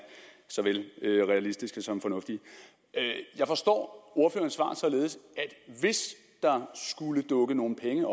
såvel realistiske som fornuftige jeg forstår ordførerens svar således at hvis der skulle dukke nogle penge